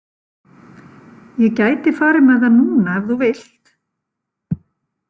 Ég gæti farið með það núna ef þú vilt.